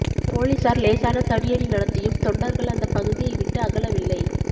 போலீசார் லேசான தடியடி நடத்தியும் தொண்டர்கள் அந்த பகுதியை விட்டு அகலவில்லை